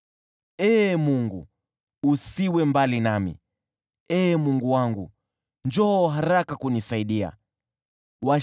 Ee Mungu, usiwe mbali nami, njoo haraka kunisaidia, Ee Mungu wangu.